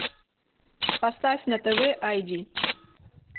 поставь на тв ай ди